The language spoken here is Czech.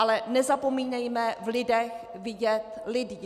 Ale nezapomínejme v lidech vidět lidi.